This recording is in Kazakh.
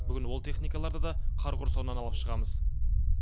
бүгін ол техникаларды да қар құрсауынан алып шығамыз